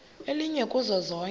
elinye kuzo zonke